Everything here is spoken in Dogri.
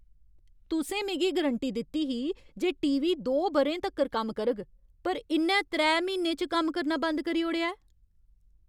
तुसें मिगी गरंटी दित्ती ही जे टी. वी. दो ब'रें तक्कर कम्म करग पर इ'न्नै त्रै म्हीनें च कम्म करना बंद करी ओड़ेआ ऐ!